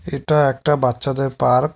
এটা একটা বাচ্চাদের পার্ক ।